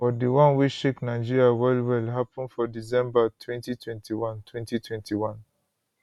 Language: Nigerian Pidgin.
but di one wey shake nigeria wellwell happun for december 2021 2021